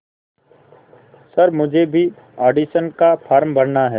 sir मुझे भी audition का फॉर्म भरना है